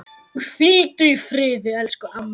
Hvíldu í friði elsku amma.